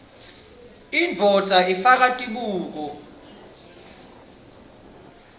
indvodza ifake tibuko